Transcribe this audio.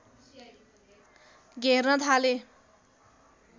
घेर्न थाले